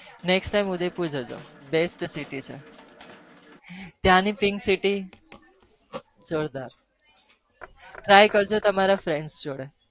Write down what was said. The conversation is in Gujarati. ઉદય પુર જજો બીજું બાર મજા વસે